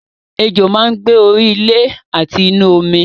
Ejò máa ń gbé orí ilé àti inú omi